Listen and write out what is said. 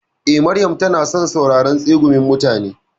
Eh, Maryam tana son sauraron tsegumin mutane.